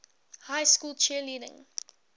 high school cheerleading